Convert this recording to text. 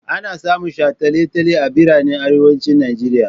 Ana samun shataletale a biranen arewacin Nijeriya.